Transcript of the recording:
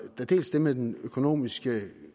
er dels det med den økonomiske